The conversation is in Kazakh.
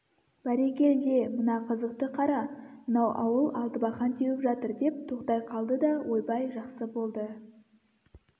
бәрекелде мына қызықты қара мынау ауыл алтыбақан теуіп жатыр деп тоқтай қалды да ойбай жақсы болды